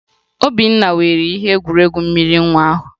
Obinna were ihe egwuregwu mmiri nwa ahụ